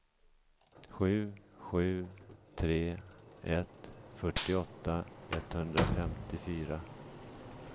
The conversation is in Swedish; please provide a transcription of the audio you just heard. sju sju tre ett fyrtioåtta etthundrafemtiofyra